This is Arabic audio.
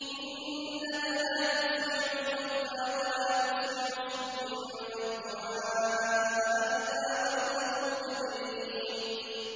إِنَّكَ لَا تُسْمِعُ الْمَوْتَىٰ وَلَا تُسْمِعُ الصُّمَّ الدُّعَاءَ إِذَا وَلَّوْا مُدْبِرِينَ